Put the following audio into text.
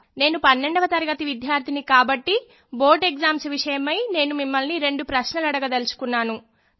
నేను పన్నెండవ తరగతి విద్యార్థినిని కాబట్టి బోర్డ్ ఎగ్జామ్స్ విషయమై నేను మిమ్మల్ని రెండు ప్రశ్నలు అడగదలుచుకున్నాను